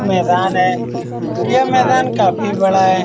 मैदान है यह मैदान काफी बड़ा है।